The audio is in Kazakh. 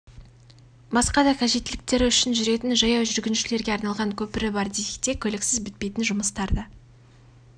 басқа да қажеттіліктері үшін жүретін жаяу жүргіншілерге арналған көпірі бар десекте көліксіз бітпейтін жұмыстар да